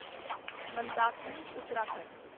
Mandakini Uttarakhand